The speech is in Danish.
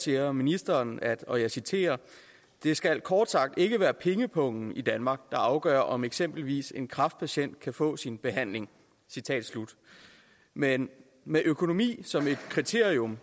siger ministeren og jeg citerer det skal kort sagt ikke være pengepungen der i danmark afgør om eksempelvis en kræftpatient kan få sin behandling men med økonomi som et kriterium